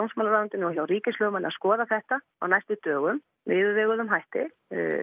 dómsmálaráðuneytinu og hjá ríkislögmanni að skoða þetta á næstu dögum með yfirveguðum hætti